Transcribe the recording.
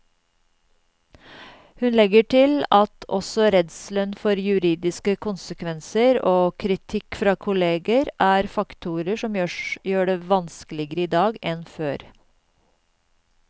Hun legger til at også redselen for juridiske konsekvenser og kritikk fra kolleger er faktorer som gjør det vanskeligere i dag enn før.